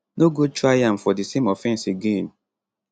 no go try am for di same offence again